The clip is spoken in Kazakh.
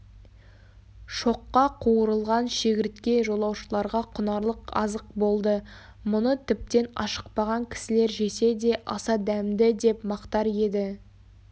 шоққа қуырылған шегіртке жолаушыларға құнарлы азық болды мұны тіптен ашықпаған кісілер жесе де аса дәмді деп мақтар еді